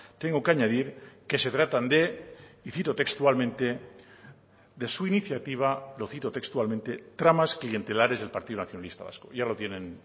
tengo que añadir que se tratan de y cito textualmente de su iniciativa lo cito textualmente tramas clientelares del partido nacionalista vasco ya lo tienen